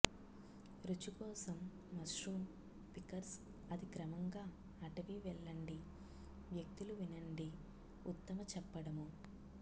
రుచికోసం mushroom pickers అది క్రమంగా అటవీ వెళ్ళండి వ్యక్తులు వినండి ఉత్తమ చెప్పడము